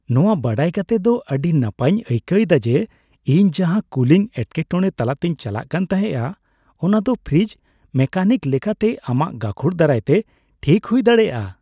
ᱱᱚᱣᱟ ᱵᱟᱰᱟᱭ ᱠᱟᱛᱮ ᱫᱚ ᱟᱹᱰᱤ ᱱᱟᱯᱟᱭᱤᱧ ᱟᱹᱭᱠᱟᱹᱣ ᱮᱫᱟ ᱡᱮ , ᱤᱧ ᱡᱟᱦᱟᱸ ᱠᱩᱞᱤᱝ ᱮᱴᱠᱮᱴᱚᱲᱮ ᱛᱟᱞᱟᱛᱮᱧ ᱪᱟᱞᱟᱜ ᱠᱟᱱ ᱛᱟᱦᱮᱸᱜᱼᱟ ᱚᱱᱟ ᱫᱚ ᱯᱷᱨᱤᱡᱽ ᱢᱮᱠᱟᱱᱤᱠ ᱞᱮᱠᱟᱛᱮ ᱟᱢᱟᱜ ᱜᱟᱹᱠᱷᱩᱲ ᱫᱟᱨᱟᱭᱛᱮ ᱴᱷᱤᱠ ᱦᱩᱭ ᱫᱲᱟᱮᱭᱟᱜᱼᱟ ᱾